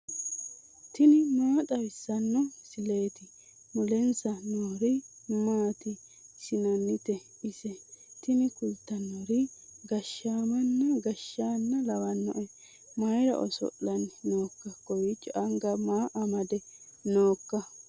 tini maa xawissanno misileeti ? mulese noori maati ? hiissinannite ise ? tini kultannori gashshaamanna gashshanna lawannoe mayra oso'lanni nooikka kowiichco anga maa amade nooikka